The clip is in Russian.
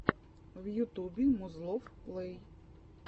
в ютубе музлофф плэй